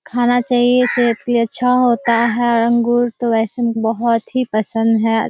खाना चाहिए सेहत के लिए अच्छा होता है और अंगूर तो वैसे भी बहोत ही पसंद है।